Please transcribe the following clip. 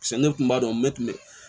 Paseke ne kun b'a dɔn ne tun bɛ